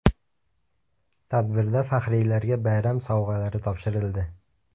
Tadbirda faxriylarga bayram sovg‘alari topshirildi.